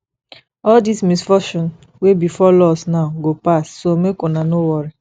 all dis misfortune wey befall us now go pass so make una no worry